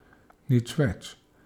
Nič več.